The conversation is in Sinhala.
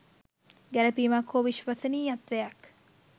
ගැලපීමක් හෝ විශ්වාසනීයත්වයක්